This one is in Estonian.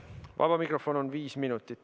Vaba mikrofon on viis minuti.